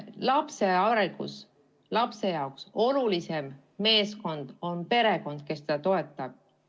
Lapse arengus on tema jaoks olulisim meeskond perekond, kes teda toetab.